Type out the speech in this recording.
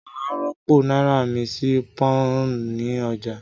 Màá rọ́pò náírà mi sí pọ́n-ọ̀n ní ọjà